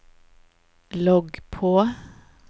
logg på